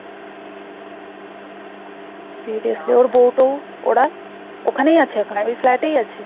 বুঝেছি ওর বউ টৌ ওরা ওখানেই আছে ওই flat এই আছে?